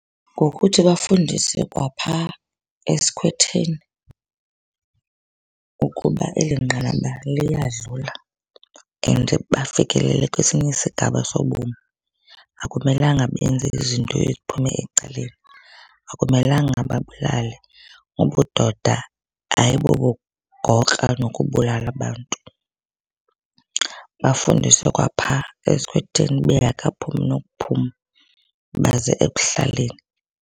Ngokuthi bafundise kwaphaa esikhwetheni ukuba eli nqanaba liyadlula and bafikelele kwesinye isigaba sobomi. Akumelanga benze izinto eziphume ecaleni. Akumelanga babulale. Ubudoda ayibobugokra nokubulala abantu. Bafundiswe kwaphaa esikhwetheni bengakaphumi nokuphuma baze ekuhlaleni.